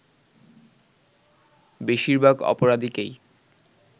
বেশিরভাগ অপরাধীকেই